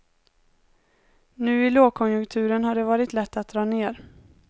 Nu i långkonjunkturen har det varit lätt att dra ner.